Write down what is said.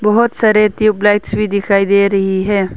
बहुत सारे tube lights भी दिखाई दे रही है।